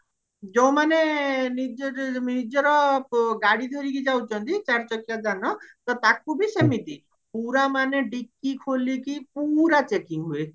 ଯୋଉ ମାନେ ନିଜ ନିଜର ଗାଡି ଧରିକି ଯାଉଚନ୍ତି ଚାରି ଚକିଆ ଯାନ ତ ତାକୁ ବି ସେମିତି ପୁରା ମାନେ dickey ଖୋଲିକି ପୁରା checking ହୁଏ